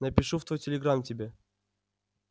напишу в твой телеграм тебе